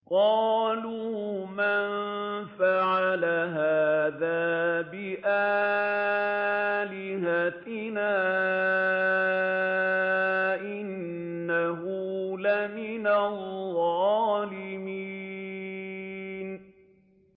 قَالُوا مَن فَعَلَ هَٰذَا بِآلِهَتِنَا إِنَّهُ لَمِنَ الظَّالِمِينَ